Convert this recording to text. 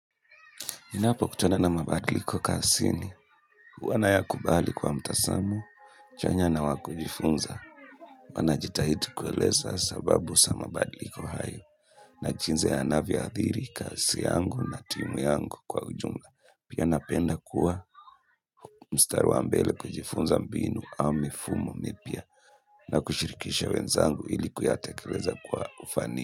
Ninapo kutana na mabadliko kazini, huwa nayakubali kwa mtazamo, chanya na wa kujifunza, huwa najitahidi kueleza sababu za mabadiliko hayo, na jinzi yanavyathiri kazi yangu na timu yangu kwa ujumla. Pia napenda kuwa mstari wa mbele kujifunza mbinu au mifumo mipya, na kushirikisha wenzangu ili kuyatekeleza kwa ufani.